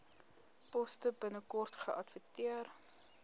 poste binnekort geadverteer